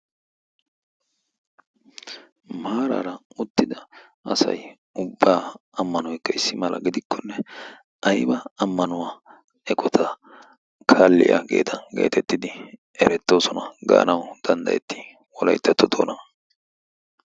maaraara uttida asai ubbaa ammanoikka issi mala gidikkonne aiba ammanuwaa eqota kaalliyaa geeta geetettidi erettoosona. gaanau danddayetti wolaittatto toona?